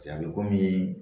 a bɛ komi